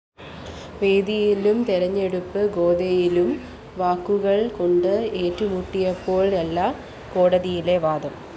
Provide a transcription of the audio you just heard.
വേദിയിലും തെരഞ്ഞെടുപ്പ്‌ ഗോദയിലും വാക്കുകള്‍ കൊണ്ട്‌ ഏറ്റുമുട്ടിയപോലെയല്ല കോടതിയിലെ വാദം